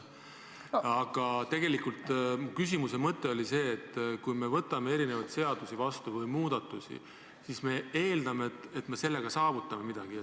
Aga tegelikult oli mu küsimuse mõte see: kui me võtame vastu erinevaid seadusi või muudatusi, siis me eeldame, et sellega me saavutame midagi.